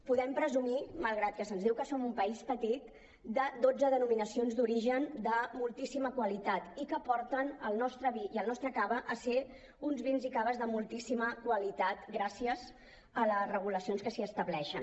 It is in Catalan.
podem presumir malgrat que se’ns diu que som un país petit de dotze denominacions d’origen de moltíssima qualitat i que porten el nostre vi i el nostre cava a ser uns vins i caves de moltíssima qualitat gràcies a les regulacions que s’hi estableixen